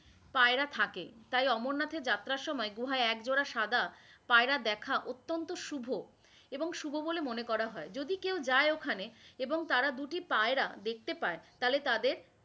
পায়রা থাকে, তাই অমরনাথের যাত্রার সময় গুহায় একজোড়া সাদা পায়রা দেখা অত্যান্ত শুভ, এবং শুভ বলে মনে কয়া হয়, যদি কেউ যায় ওখানে এবং তার দুটি পায়রা দেখতে পায় তাহলে তাদের,